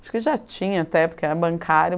Acho que já tinha, até, porque era bancário.